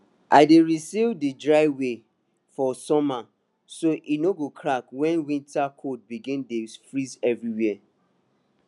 i dey reseal d driveway for summer so e no go crack wen winter cold begin dey freeze everywhere